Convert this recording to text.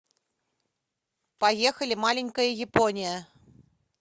поехали маленькая япония